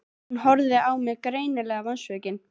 Hún horfði á mig, greinilega vonsvikin.